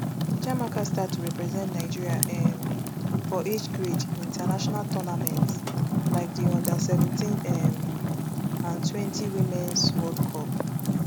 chiamaka start to represent nigeria um for age grade international tournaments like di under seventeen um and twenty womens world cup